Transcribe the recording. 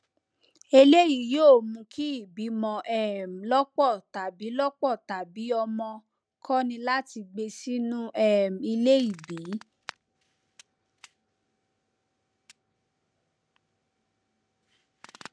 eleyi yoo mu ki ìbìmọ um lọpọ tabi lọpọ tabi ọmọ kọni láti gbé sínu um ilé ìbí